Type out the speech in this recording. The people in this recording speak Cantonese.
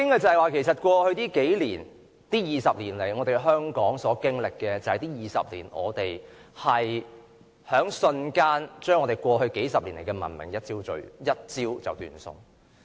在過去20年以來，香港所經歷的，就是我們在這20年內把過去數十年的文明一朝斷送。